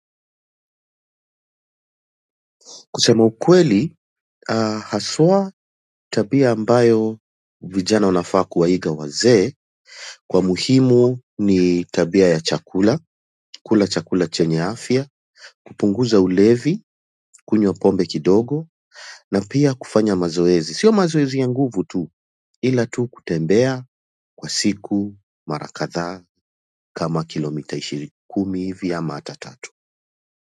Kusema ukweli, aah haswa tabia ambayo vijana wanafaa kuwa iga wazee kwa muhimu ni tabia ya chakula, kula chakula chenya afya kupunguza ulevi, kunywa pombe kidogo na pia kufanya mazoezi, sio mazoezi ya nguvu tu, ila tu kutembea kwa siku mara kadhaa kama kilomita ishiri kumi hivi ama hata tatu.